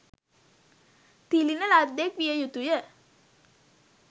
තිළිණ ලද්දෙක් විය යුතු ය.